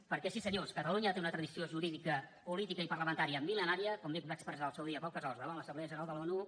perquè sí senyors catalunya té una tradició jurídica política i parlamentària millenària com bé va expressar en el seu dia pau casals davant l’assemblea general de l’onu